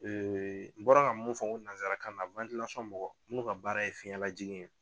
n bɔra ka mun fɔ ko nanzarakan na mɔgɔw n k'o ka baara ye fiyɛn lajigin ye